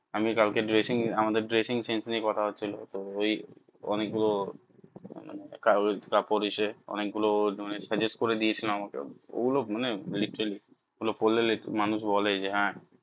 আমি কাল কে dressing আমাদের dressing sense নিয়ে কথা হছিলো তো ওই অনেক গুলো কাগকাপড়ে অনেক গুলো suggest করে দিয়ে ছিল ও আমাকে ও গুলো মানে literally ও গুলো পড়লে মানুষ বলে যে হ্যাঁ